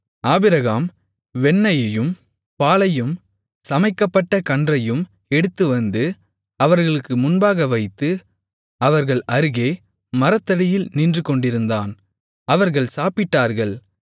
Abraham வெண்ணெயையும் பாலையும் சமைக்கப்பட்ட கன்றையும் எடுத்து வந்து அவர்களுக்கு முன்பாக வைத்து அவர்கள் அருகே மரத்தடியில் நின்றுகொண்டிருந்தான் அவர்கள் சாப்பிட்டார்கள்